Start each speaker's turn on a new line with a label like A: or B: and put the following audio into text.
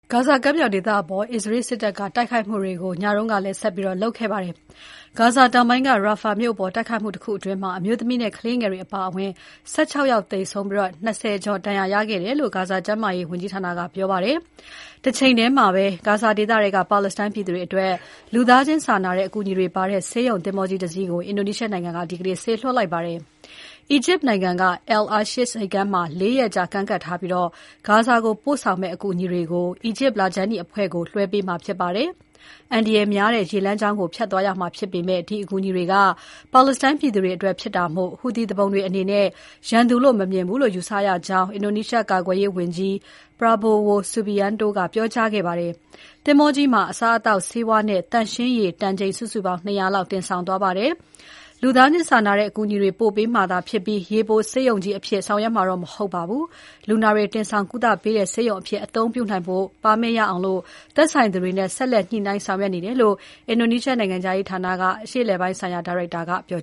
A: ဂါဇာကမ်းမြောင်ဒေသအပေါ် အစ္စရေးစစ်တပ်က ညလုံးပေါက် တိုက်ခိုက်မှုတွေ ဆက်လုပ်နေပါတယ်။ ဂါဇာတောင်ပိုင်းက Rafah မြို့အပေါ် တိုက်ခိုက်မှုတခု အတွင်း အမျိုးသမီးနဲ့ ကလေးငယ်တွေအပါဝင် ၁၆ ယောက်သေဆုံးပြီး ၂၀ ကျော် ဒဏ်ရာရသွားတယ်လို့ ဂါဇာဒေသ ကျန်းမာရေးဝန်ကြီးဌာက ပြောပါတယ်။ တချိန်ထဲမှာပဲ ဂါဇာဒေသထဲက ပါလက်စတိုင်းပြည်သူတွေအတွက် လူသားချင်းစာနာတဲ့အကူအညီတွေပါတဲ့ ဆေးရုံသင်္ဘောကြီးတစင်းကို အင်ဒိုနီးရှားနိုင်ငံက ဒီနေ့ စေလွှတ်လိုက်ပါတယ်။ အီဂျစ်နိုင်ငံက Al-Arish ဆိပ်ကမ်းမှာ ၄ ရက်ကြာ ကမ်းကပ်ထားပြီး ဂါဇာကို ပို့ဆောင်မယ့် အကူအညီတွေကို အီဂျစ်လခြမ်းနီအဖွဲ့ကို ထောက်ပံ့ရေး အကူအညီတွေကို လွှဲပေးမှာဖြစ်ပါတယ်။ အန္တရာယ်များတဲ့ ရေလမ်းကြောင်းကို ဖြတ်သွားရမှာဖြစ်ပေမဲ့ ဒီအကူအညီတွေက ပါလက်စတိုင်း ပြည်သူတွေအတွက်ဖြစ်တာမို့ Houthi သူပုန်တွေအနေနဲ့ ရန်သူလို့ မမြင်ဘူးလို့ ယူဆကြောင်း အင်ဒိုနီးရှားကာကွယ်ရေးဝန်ကြီး Prabowo Subianto ကပြောကြားခဲ့ပါတယ်။ သင်္ဘောကြီးမှာ အစားအသောက်၊ ဆေးဝါးနဲ့ သန့်ရှင်းရေး တန်ချိန် ၂၀၀ လောက်တင်ဆောင်သွားပါတယ်။ လူသားချင်းစာနာတဲ့အကူအညီတွေ ပို့ပေးမှာသာဖြစ်ပြီး ရေပေါ် ဆေးရုံသင်္ဘောကြီးအဖြစ်ဆောင်ရွက်မှာတော့ မဟုတ်ပါဘူး။ လူနာတွေတင်ဆောင်ကုသပေးတဲ့ ဆေးရုံအဖြစ် အသုံးပြုနိုင်ဖို့ ပါမစ်ရအောင် သက်ဆိုင်သူတွေနဲ့ ဆက်လက်ညှိနှိုင်းဆောင်ရွက်နေတယ်လို့ အင်ဒိုနီးရှားနိုင်ငံခြားရေးဌာနက
B: အရှေ့အလယ်ပိုင်းဆိုင်ရာ ဒါရိုက်တာက ပြော